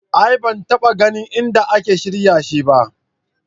A'a ban taɓa ganin inda ake shirya shi ba.